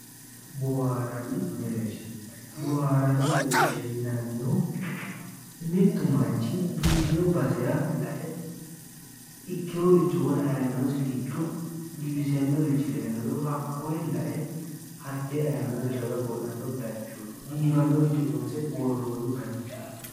Boohaarrani mereersha boohaarranni mereersha yinannihu mittu manchi biifino basera la'e ikkeworicho wona ayimirosi giddo giwisannorichi dayinoro hakkoye la'e hattee ayimirosi raga qo'lanno bayichooti biifannoricho loonse worroonni bayichooti